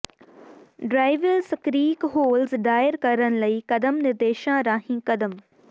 ਡ੍ਰਾਇਵਿਲ ਸਕ੍ਰੀਕ ਹੋਲਜ਼ ਦਾਇਰ ਕਰਨ ਲਈ ਕਦਮ ਨਿਰਦੇਸ਼ਾਂ ਰਾਹੀਂ ਕਦਮ